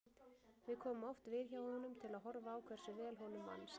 Við komum oft við hjá honum til að horfa á hversu vel honum vannst.